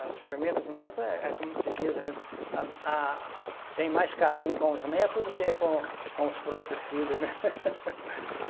Os primeiros netos é é como se diz, a gente, a, a, tem mais carinho com os netos do que com com os próprios filhos, né?